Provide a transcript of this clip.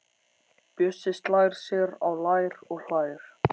Bjössi slær sér á lær og hlær.